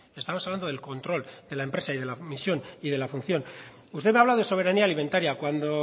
estamos hablando del control de la empresa y de la misión y de la función usted me habla de soberanía alimentaria cuando